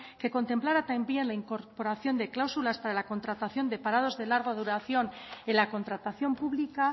que contemplara también la incorporación de cláusulas para la contratación de parados de larga duración en la contratación pública